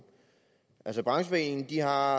altså brancheforeningen har